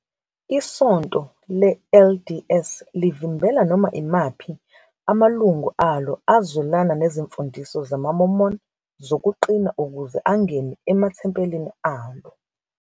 ISonto le-LDS livimbela noma imaphi amalungu alo azwelana nezimfundiso zamaMormon zokuqina ukuze angene emathempelini alo.